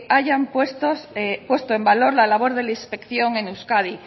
hayan puesto en valor la labor de la inspección en euskadi